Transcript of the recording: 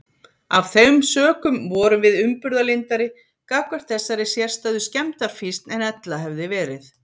Af þeim sökum vorum við umburðarlyndari gagnvart þessari sérstæðu skemmdarfýsn en ella hefði verið.